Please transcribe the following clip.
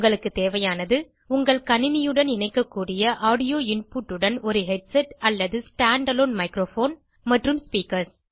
உங்களுக்கு தேவையானது உங்கள் கணினியுடன் இணைக்கக்கூடிய ஆடியோ இன்புட் உடன் ஒரு ஹெட்செட் அல்லது stand அலோன் மைக்ரோபோன் மற்றும் ஸ்பீக்கர்ஸ்